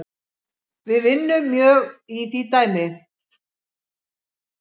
Við vinnum mjög í því dæmi